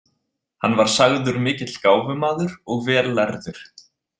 Hann var sagður mikill gáfumaður og vel lærður.